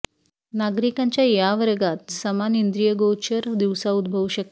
नागरिकांच्या या वर्गात समान इंद्रियगोचर दिवसा उद्भवू शकते